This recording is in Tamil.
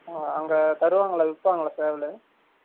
ஆ அங்க தருவாங்கலா, விப்பாங்கலா சேவலு?